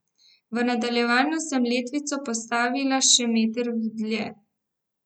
V nadaljevanju sem letvico postavila še meter dlje.